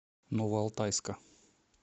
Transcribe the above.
новоалтайска